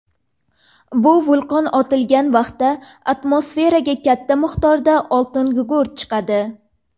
Bu vulqon otilgan vaqtda atmosferaga katta miqdorda oltingugurt chiqadi.